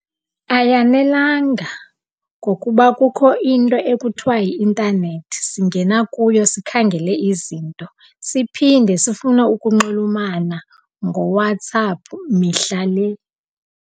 Ayanelanga ngokuba kukho into ekuthiwa yi-intanethi. Singena kuyo sikhangele izinto siphinde sifune ukunxulumana ngoWhatsApp mihla le.